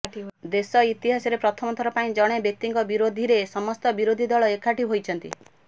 ଦେଶ ଇତିହାସରେ ପ୍ରଥମଥର ପାଇଁ ଜଣେ ବ୍ୟକ୍ତିଙ୍କ ବିରୋଧୀରେ ସମସ୍ତ ବିରୋଧୀ ଦଳ ଏକାଠି ହୋଇଛନ୍ତି